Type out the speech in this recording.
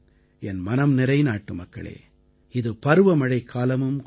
என் மனம்நிறை நாட்டுமக்களே இது பருவமழைக்காலமும் கூட